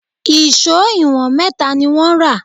Èṣó ìwọ̀n mẹ́ta ni wọ́n rà